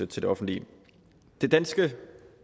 til det offentlige det danske